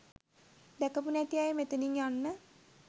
දැකපු නැති අය මෙතනින් යන්න.